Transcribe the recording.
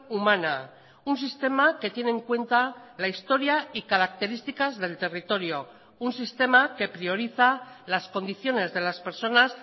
humana un sistema que tiene en cuenta la historia y características del territorio un sistema que prioriza las condiciones de las personas